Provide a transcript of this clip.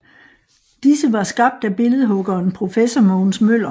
Disse var skabt af billedhuggeren professor Mogens Møller